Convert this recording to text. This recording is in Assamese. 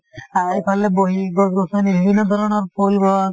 অ এইফালে বহি গছ গছনি বিভিন্ন ধৰণৰ ফুল গছ